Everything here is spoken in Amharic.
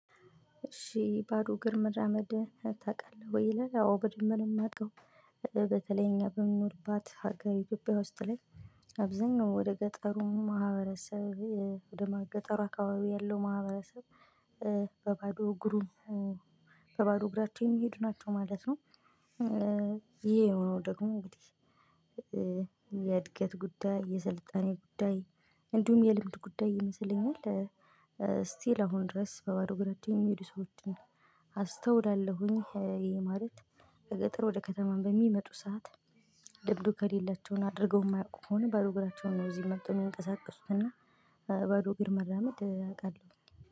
እሺ ባዶ እግር መራመድ ታውቃለህ ወይ? ላይ አዎ በደንብ የማውቀው በተለይ እኛ በምኑርባት ሀገር ኢትዮጵያ ውስጥ ላይ። አብዛኛው ወደ ገጠሩ ማህበረሰብ ወደ ገጠሩ አካባቢ ያለው ማህበረሰብ። በባዶ እግሩን በባዶ እግራቸውን የሚሄድ ናቸው ማለት ነው። ይሄ የሆነው ደግሞ እንግዲህ የእድገት ጉዳይ የሰልጣኔ ጉዳይ እንዲሁም የልምድ ጉዳይ ይመስለኛል። ስቲል አሁን ድረስ በባዶ እግራቸው የሚሄዱ ሰዎችን አስተውለለሁኝ። ማለት ከገጠር ወደ ከተማ በሚመጡ ሰዓት። ለምዱ ከሌላቸውን አድርገው የማያውቁ ከሆነ ባዶ እግራቸውን ነው እዚህ መተው የሚንቀሳቀሱት እና ባዶ እግር መራመድ አውቃለሁ